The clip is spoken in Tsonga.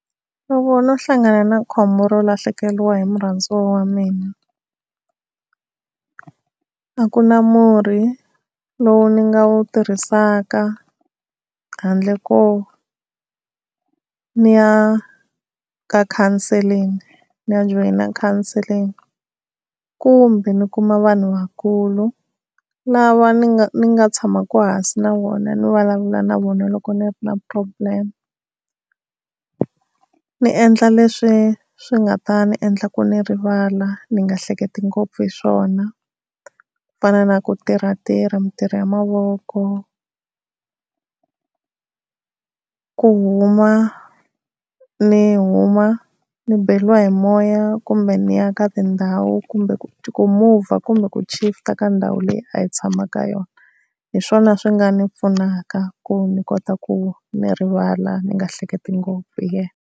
Loko no hlangana na khombo ro lahlekeriwa hi murhandziwa wa mina, a ku na murhi lowu ni nga wu tirhisaka handle ko ni ya ka counseling ni ya joyina counselling. Kumbe ni kuma vanhu vakulu lava ni nga ni nga tshamaka hansi na vona ni vulavula na vona loko ni ri na problem. Ni endla leswi swi nga ta ni endla ku ni rivala ni nga hleketi ngopfu hi swona, ku fana na ku tirhatirha mintirho ya mavoko, ku huma ni huma ni beriwa hi moya kumbe ni ya ka tindhawu kumbe ku muvha kumbe ku shift-a ka ndhawu leyi a hi tshama ka yona hi swona swi nga ni pfunaka ku ni kota ku ni rivala ni nga hleketi ngopfu yena.